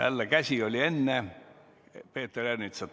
Jälle, teie käsi oli enne Peeter Ernitsat ...